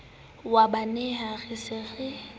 wa bonaha re se re